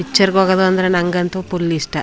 Picture ಗೆ ಹೋಗೋದು ಅಂದ್ರೆ ನಂಗಂತೂ ಫುಲ್ ಇಷ್ಟ.